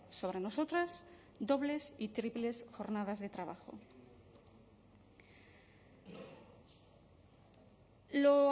sobre nosotras dobles y triples jornadas de trabajo lo